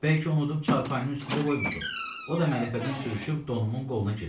Bəlkə unudub çarpayının üstündə qoymusuz, o da mələfədən sürüşüb donumun qoluna girib.